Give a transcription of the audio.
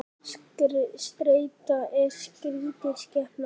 Streita er skrítin skepna.